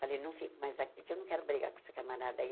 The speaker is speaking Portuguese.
Falei, não fico mais aqui porque eu não quero brigar com essa camarada aí.